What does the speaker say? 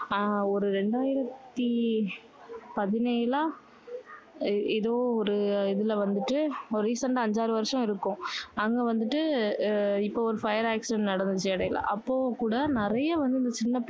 அஹ் ஒரு ரெண்டாயிரத்தி பதினேழா ஏதோ ஒரு இதுல வந்துட்டு recent ஆ அஞ்சாறு வருஷம் இருக்கும். அங்க வந்துட்டு இப்போ ஒரு fire accident நடந்துச்சு இடையில. அப்போ கூட நிறைய வந்து இந்த சின்ன